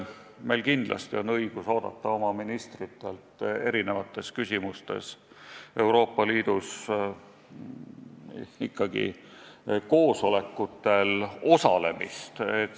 Meil kindlasti on õigus oodata oma ministritelt Euroopa Liidus ikkagi koosolekutel osalemist.